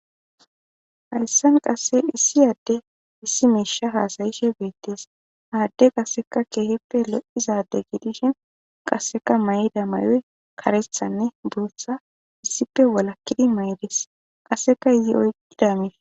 Hayssan qasse issi adde issi meesha haasayishe beettees aadde qasseka keehippe lo'izade gidishin qasseka may'da may'oy karethanne duutha issippe walakkidi maydis qasseka ye'oy ida miish.